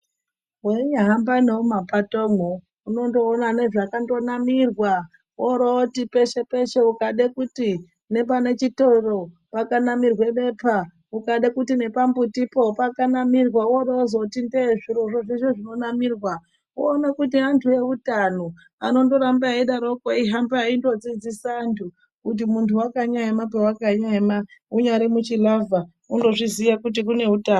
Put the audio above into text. Weinyahamba nemuma patomwo unondoona nezvakandonamirwa orowoti peshe-peshe ukade kuti nepane zvitoro pakanakirwa bepa ukade kuti nepambutipo pakanamirwa worowozoti ndee zvirozvo zveshe zvakanamirwa woona kuti antu eutano anondoramba eidaroko anohamba eindodzidzisa antu kuti munhu wakanyaema pawakaema unyari muchiravha unozvizoya kuti kune utano